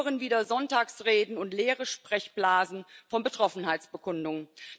Wir hören wieder Sonntagsreden und leere Sprechblasen von Betroffenheitsbekundungen.